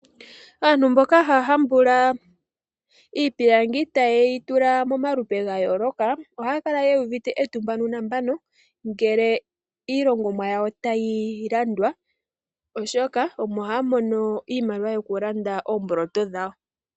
Aantu mboka ha hambula iipilangi ta ye yi tula momalupe ga yooloka, oha ya kala ye uvite etumba nuunambano ngele iilongomwa yawo tayi landwa oshoka omo haamono iimaliwa yoku landa oomboloto dhawo.